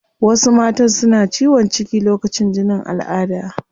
Wasu matan suna ciwon ciki lokacin jinin alada